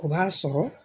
O b'a sɔrɔ